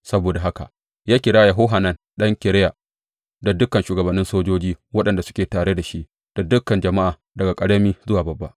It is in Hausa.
Saboda haka ya kira Yohanan ɗan Kareya da dukan shugabannin sojoji waɗanda suke tare da shi da dukan jama’a daga ƙarami zuwa babba.